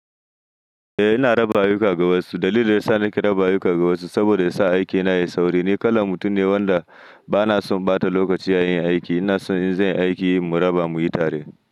Eh ina raba ayuka ga wasu. Dalilin da yasa nake raba ayuka ga wasu saboda yasa aikina yayi sauri. Ni kalan mutum ne wanda bana son ɓata lokaci a yin aiki. Ina son in zai aiki muyi raba muyi tare.